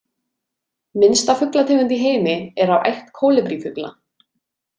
Minnsta fuglategund í heimi er af ætt kólibrífugla.